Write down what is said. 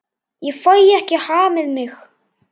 Ég fæ ekki hamið mig.